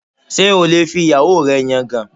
Ṣé o lè fi ìyàwó rẹ yangàn?